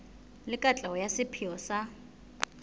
le katleho ya sepheo sa